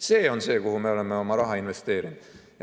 See on see, kuhu me oleme oma raha investeerinud.